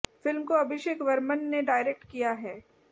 film को अभिषेक वरमन ने direct किया है